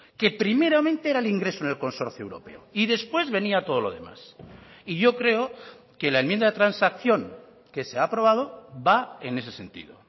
que primeramente era el ingreso en el consorcio europeo y después venía todo lo demás y yo creo que la enmienda de transacción que se ha aprobado va en ese sentido